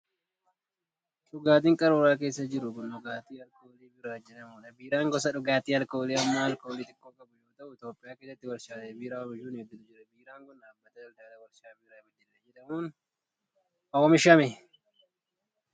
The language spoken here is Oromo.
Dhugaatiin qaruura keessa jiru kun, dhugaatii alkoolii biiraa jedhamuu dha. Biiraan gosa dhugaatii alkoolii hamma alkoolii xiqoo qabu yoo ta'u, Itoophiyaa keessa warshaalee biiraa oomishan hedduutu jiru. Biiraan kun, dhaabbata daldalaa warshaa Biiraa Baddallee jedhamuun oomishame.